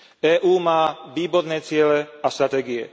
EÚ má výborné ciele a stratégie.